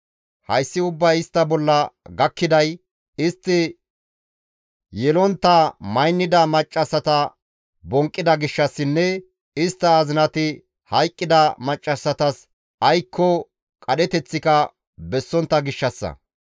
Hayssi ubbay istta bolla gakkiday istti yelontta maynida maccassata bonqqida gishshassinne istta azinati hayqqida maccassatas aykko qadheteththika bessontta gishshassa.